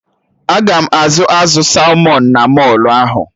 Aga m ahụ azụ salmọn na mọlụ ahụ?